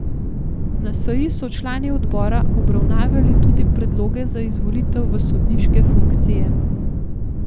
Na seji so člani odbora obravnavali tudi predloge za izvolitev v sodniške funkcije.